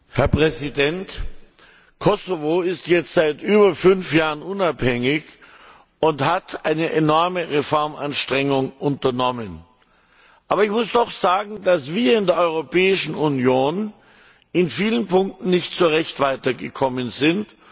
Herr Präsident! Kosovo ist jetzt seit über fünf Jahren unabhängig und hat eine enorme Reformanstrengung unternommen. Aber ich muss doch sagen, dass wir in der Europäischen Union in vielen Punkten nicht so recht weitergekommen sind.